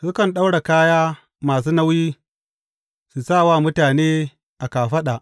Sukan ɗaura kaya masu nauyi, su sa wa mutane a kafaɗa.